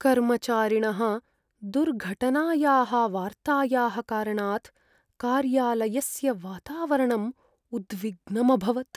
कर्मचारिणः दुर्घटनायाः वार्तायाः कारणात् कार्यालयस्य वातावरणम् उद्विग्नम् अभवत्।